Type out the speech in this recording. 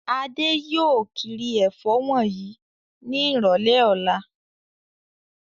Adé yóò kiri ẹ̀fọ́ wọ̀nyí ní ìrọ́lẹ́ ọ̀la.